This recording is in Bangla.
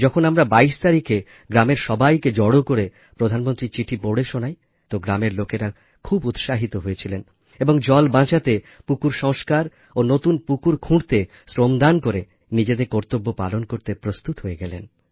যখন আমরা ২২ তারিখে গ্রামের সবাইকে জড়ো করে প্রধানমন্ত্রীর চিঠি পড়ে শোনাই তো গ্রামের লোকেরা খুব উৎসাহিত হয়েছিলেন এবং জল বাঁচাতে পুকুর সংষ্কার ও নতুন পুকুর খুঁড়তে শ্রমদান করে নিজেদের কর্তব্য পালন করতে প্রস্তুত হয়ে গেলেন